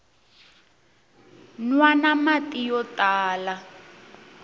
nwana mati yo tala